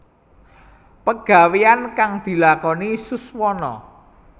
Pagaweyan kang dilakoni Suswono